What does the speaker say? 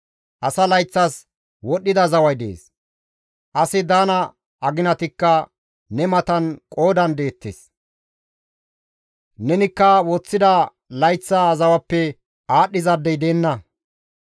Asa layththas wodhida zaway dees; asi daana aginatikka ne matan qoodan deettes; nenikka woththida layththa zawappe aadhdhizaadey deenna.